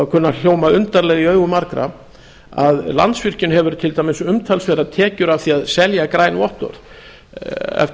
að hljóma undarlega í eyrum margra að landsvirkjun hefur til dæmis umtalsverðar tekjur af því að selja græn vottorð eftir